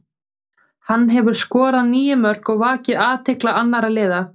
Hann hefur skorað níu mörk og vakið athygli annara liða.